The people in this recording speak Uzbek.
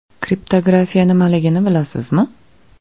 Kriptografiya nimaligini bilasizmi?